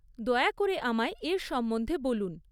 দয়া করে আমায় এর সম্বন্ধে বলুন।